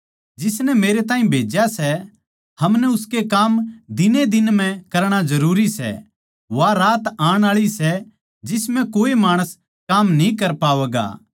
जिसनै मेरै ताहीं भेज्या सै हमनै उसके काम दिनएदिन म्ह करणा जरूरी सै वा रात आण आळी सै जिस म्ह कोए माणस काम न्ही कर पावैगा